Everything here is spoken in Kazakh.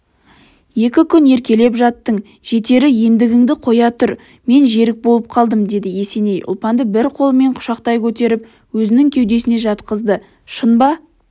екі күн еркелеп жаттың жетері ендігіңді қоя тұр мен жерік болып қалдым деді есеней ұлпанды бір қолымен құшақтай көтеріп өзінің кеудесіне жатқызды шын ба